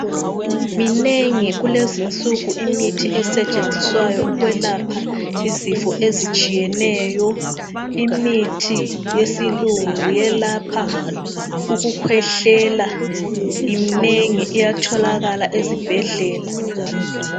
Minengi kulezinsuku imithi esetshenziswayo ukwelapha izifo ezitshiyeneyo. Imithi yesilungu elapha ukukhwehlela iminengi iyatholakala ezibhedlela.